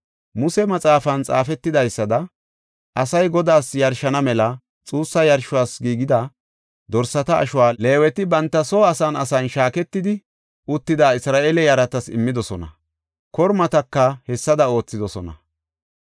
Muse maxaafan xaafetidaysada asay Godaas yarshana mela xuussa yarshos giigida dorsata ashuwa Leeweti banta soo asan asan shaaketidi uttida Isra7eele yaratas immidosona; kormataka hessada oothidosona.